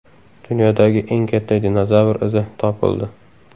Dunyodagi eng katta dinozavr izi topildi.